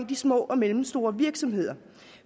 de små og mellemstore virksomheder